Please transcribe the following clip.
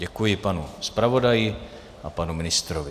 Děkuji panu zpravodaji a panu ministrovi.